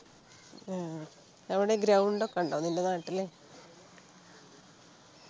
ഉം അവിടെ ground ഒക്കെ ഉണ്ടോ നിൻ്റെ നാട്ടില്